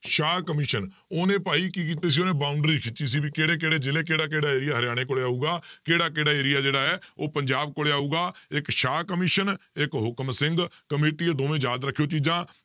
ਸ਼ਾਹ commission ਉਹਨੇ ਭਾਈ ਕੀ ਕੀਤੇ ਸੀ ਉਹਨੇ boundary ਖਿੱਚੀ ਸੀ ਵੀ ਕਿਹੜੇ ਕਿਹੜੇ ਜ਼ਿਲ੍ਹੇ ਕਿਹੜਾ ਕਿਹੜਾ area ਹਰਿਆਣੇ ਕੋਲ ਆਊਗਾ ਕਿਹੜਾ ਕਿਹੜਾ area ਜਿਹੜਾ ਹੈ ਉਹ ਪੰਜਾਬ ਕੋਲੇ ਆਊਗਾ ਇੱਕ ਸ਼ਾਹ ਕਮਿਸ਼ਨ ਇੱਕ ਹੁਕਮ ਸਿੰਘ ਕਮੇਟੀ ਇਹ ਦੋਵੇਂ ਯਾਦ ਰੱਖਿਓ ਚੀਜ਼ਾਂ,